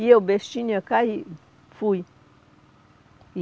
E eu, bestinha, caí, fui.